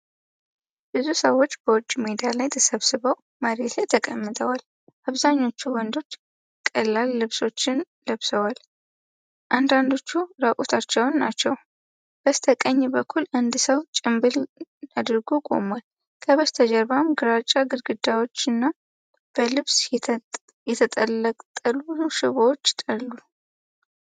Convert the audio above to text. ብዙ ሰዎች በውጭ ሜዳ ላይ ተሰብስበው መሬት ላይ ተቀምጠዋል። አብዛኞቹ ወንዶች ቀላል ልብሶችን ለብሰዋል፤ አንዳንዶቹም ራቁታቸውን ናቸው። በስተቀኝ በኩል አንድ ሰው ጭምብል አድርጎ ቆሟል፤ ከበስተጀርባም ግራጫ ግድግዳዎችና በልብስ የተንጠለጠሉ ሽቦዎች አሉ።